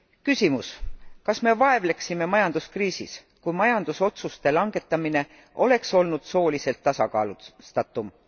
Küsimus kas me vaevleksime majanduskriisis, kui majandusotsuste langetamine oleks olnud sooliselt tasakaalustatum?